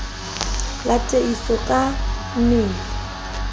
la tiiso ka e meile